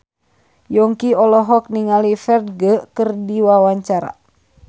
Yongki olohok ningali Ferdge keur diwawancara